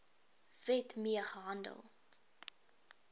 wet mee gehandel